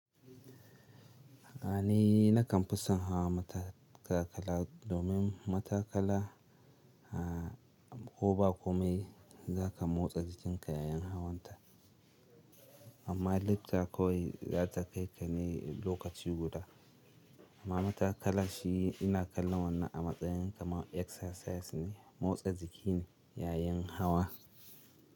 Ni nakan fi son hawa matakala domin matakala a koba kome za ka motsa jikin ka yayin hawan ta. Amma lifta kawai za ta kai ka ne lokaci guda. Amma matakala shi ina kallon wannan a matsayin kamar exercise ne, motsa jiki ne yayin hawa.